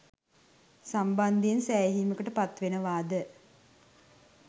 සම්බන්ධයෙන් සෑහීමට පත්වෙනවාද?